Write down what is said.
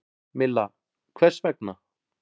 Milla: Hvers vegna?